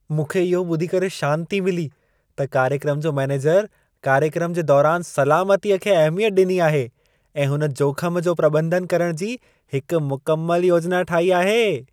मूंखे इहो ॿुधी करे शांती मिली त कार्यक्रम जो मैनेजर कार्यक्रम जे दौरान सलामतीअ खे अहिमियत ॾिनी आहे ऐं हुन जोख़म जो प्रॿंधन करणु जी हिकु मुकमल योजना ठाही आहे।